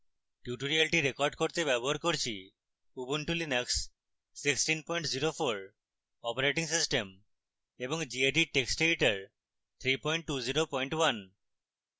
tutorial record করতে ব্যবহার করছি উবুন্টু লিনাক্স 1604 অপারেটিং সিস্টেম এবং gedit টেক্সট এডিটর 3201